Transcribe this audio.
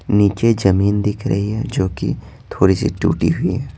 नीचे जमीन दिख रही है जो कि थोड़ी सी टूटी हुई है।